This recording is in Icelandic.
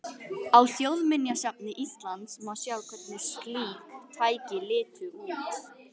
Á Þjóðminjasafni Íslands má sjá hvernig slík tæki litu út.